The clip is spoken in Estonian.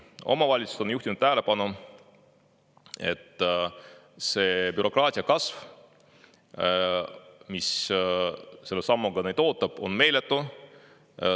Omavalitsused on juhtinud tähelepanu, et see bürokraatia kasv, mis selle sammuga neil ees ootab, on meeletu.